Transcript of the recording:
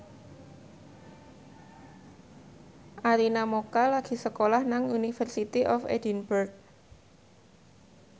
Arina Mocca lagi sekolah nang University of Edinburgh